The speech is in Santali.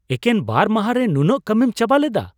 ᱮᱠᱮᱱ ᱵᱟᱨ ᱢᱟᱦᱟᱸ ᱨᱮ ᱱᱩᱱᱟᱹᱜ ᱠᱟᱹᱢᱤᱢ ᱪᱟᱵᱟ ᱞᱮᱫᱟ ?